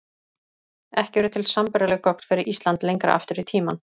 Ekki eru til sambærileg gögn fyrir Ísland lengra aftur í tímann.